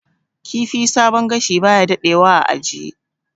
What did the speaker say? Kifi sabon gashi baya dadewa a ajiye